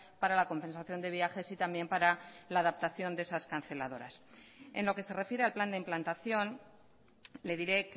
para la compensación de viajes y también para la adaptación de esas canceladoras en lo que se refiere al plan de implantación le diré